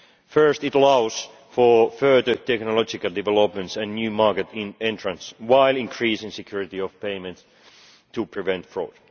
Firstly, it allows for further technological developments and new market entrants while increasing security of payments to prevent fraud.